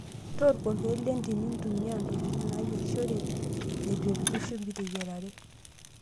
Tooko ilkeek lentim, nintumia ntokitin naayierishoreki neitu epiki shumbi teyiarare.